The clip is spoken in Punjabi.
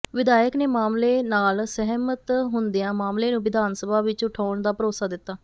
ਵਿਧਾਇਕ ਨੇ ਮਾਮਲੇ ਨਾਲ ਸਹਿਮਤ ਹੁੰਦਿਆਂ ਮਾਮਲੇ ਨੂੰ ਵਿਧਾਨ ਸਭਾ ਵਿਚ ਉਠਾਉਣ ਦਾ ਭਰੋਸਾ ਦਿੱਤਾ